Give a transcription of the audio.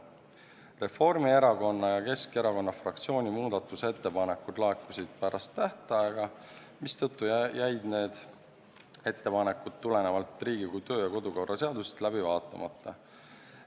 Reformierakonna ja Keskerakonna fraktsiooni muudatusettepanekud laekusid pärast tähtaega, mistõttu jäid need ettepanekud tulenevalt Riigikogu kodu- ja töökorra seadusest läbi vaatamata.